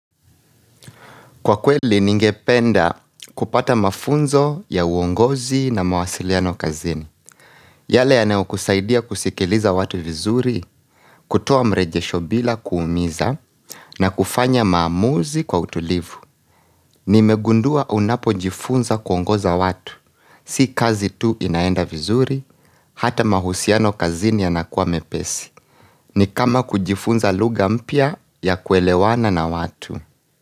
Kwa kweli ningependa kupata mafunzo ya uongozi na mawasiliano kazini. Yale yanayokusaidia kusikiliza watu vizuri, kutoa mrejesho bila kuumiza na kufanya maamuzi kwa utulivu. Nimegundua unapojifunza kuongoza watu. Si kazi tu inaenda vizuri, hata mahusiano kazini yanakuwa mepesi. Ni kama kujifunza lugha mpya ya kuelewana na watu.